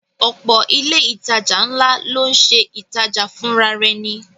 Ọ̀pọ̀ ilé ìtajà ńlá ló ń ṣe ìtajà fùnrarẹni